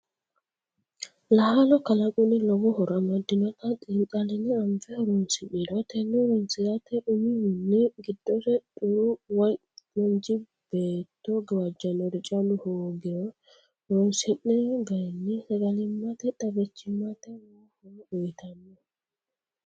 Laalo kalaqunni lowo horo amadinote xiixaline anfe horonsi'niro tene horonsirate umihunni giddose xuru woyi manchi beetto gawajanori callu hoogiro horonsi'ni garinni sagalimate xaggichimate lowo horo uyittano.